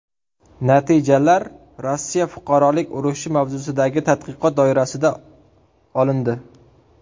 Natijalar Rossiya Fuqarolik urushi mavzusidagi tadqiqot doirasida olindi.